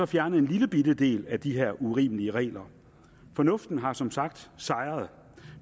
fjernet en lillebitte del af de her urimelige regler fornuften har som sagt sejret